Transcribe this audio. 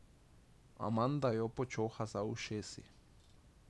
Amanda jo počoha za ušesi.